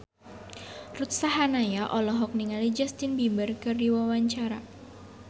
Ruth Sahanaya olohok ningali Justin Beiber keur diwawancara